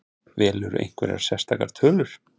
Velurðu einhverjar sérstakar tölur?